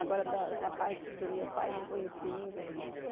Agora, da da parte do meu pai, não conheci ninguém.